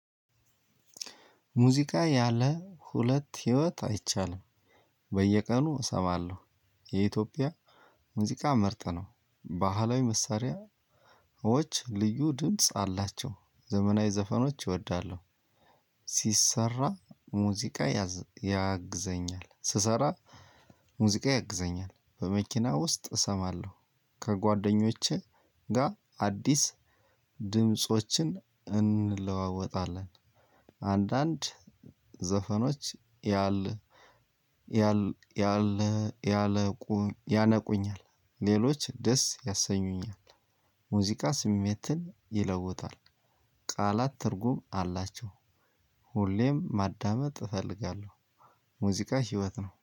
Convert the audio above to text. ሙዚቃ ያለ ሁለት ህይወት አይቻልም። በየቀኑ እሰማለሁ። የኢትዮጵያ ሙዚቃ ምርጥ ነው። ባህላዊ መሳሪያዎች ልዩ ድምጽ አላቸው። ዘመናዊ ዘፈኖች እወዳለሁ። ሲሰራ ሙዚቃ ያግዘኛል። ስሰራ ሙዚቃ ያግዘኛል በመኪና ውስጥ እሰማለሁ። ከጓደኞቼ ጋር አዲስ ድምፆችን እንለዋወጣለን። አንዳንድ ዘፈኖች። ያለ ያለ ያነቁኛል። ሌሎች ደስ ያሰኙኛል። ሙዚቃ ስሜትን ይለውጣል። ቃላት ትርጉም አላቸው። ሁሌም ማዳመጥ እፈልጋለሁ። ሙዚቃ ህይወት ነው